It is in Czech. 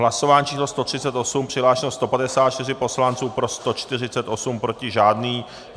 Hlasování číslo 138, přihlášeno 154 poslanců, pro 148, proti žádný.